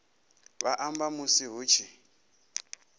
vha amba musi hu tshi